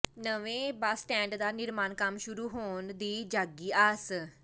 ਨਵੇਂ bus stand ਦਾ ਨਿਰਮਾਣ ਕੰਮ ਸ਼ੁਰੂ ਹੋਣ ਦੀ ਜਾਗੀ ਆਸ